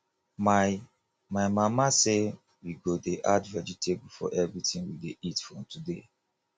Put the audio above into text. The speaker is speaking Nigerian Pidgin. my my mama say we go dey add vegetable for everything we dey eat from today